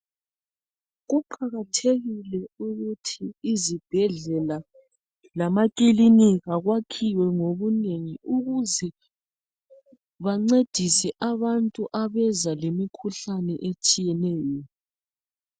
Kuqakathekile ukuthi izibhedlela lamakilinika kwakhiwe ngobunengi ukuze bancedise abantu abeza lemikhuhlane etshiyeneyo.